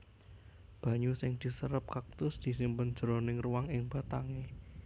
Banyu sing diserep kaktus disimpen jroning ruang ing batangé